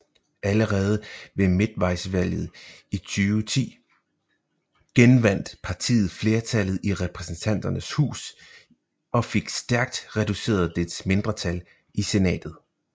Allerede ved midtvejsvalget i 2010 genvandt partiet flertallet i Repræsentanternes Hus og fik stærkt reduceret dets mindretal i Senatet